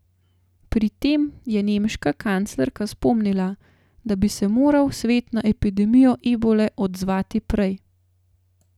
Pri tem je nemška kanclerka spomnila, da bi se moral svet na epidemijo ebole odzvati prej.